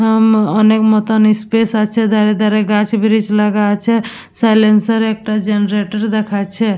অ-অম অনেক মত ইস্পেস আছে ধারে ধারে গাছ ব্রিক্স লাগা আছে সাইলেন্সার একটা জেনারেটর দেখাচ্ছে --